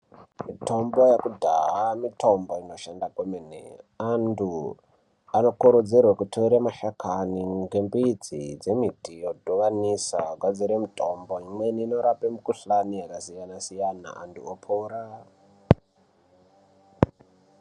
Mitombo yekudhaya mitombo inoshanda kwemene .Antu anokurudzirwa kutora mashakani ngembidzi yembiti yotoyamisa vogadzira mitombo pamweni inorapa mikhuhlani yakasiyana-siyana, antu opora.